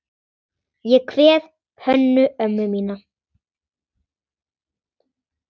Ég kveð Hönnu ömmu mína.